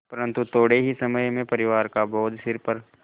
परन्तु थोडे़ ही समय में परिवार का बोझ सिर पर